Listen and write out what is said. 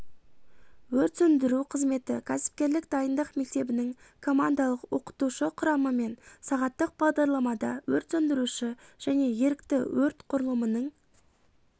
өрт сөндіру қызметі кәсіпкерлік дайындық мектебінің командалық-оқытушы құрамымен сағаттық бағдарламада өрт сөндіруші және ерікті өрт құрылымының